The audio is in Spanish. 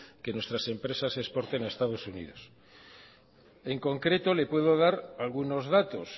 que nuestras empresas exporten a estados unidos en concreto le puedo dar algunos datos